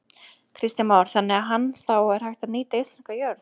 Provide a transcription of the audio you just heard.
Kristján Már: Þannig að hann, það er hægt að nýta íslenska jörð?